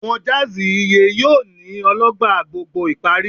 Awọn jazz iye yoo ni Ologba gbogbo ìparí